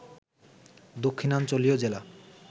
দক্ষিণাঞ্চলীয় জেলা